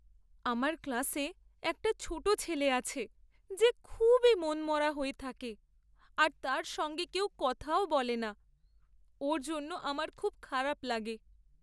আমার ক্লাসে একটা ছোট ছেলে আছে যে খুবই মনমরা হয়ে থাকে আর তার সঙ্গে কেউ কথাও বলে না। ওর জন্য আমার খুব খারাপ লাগে।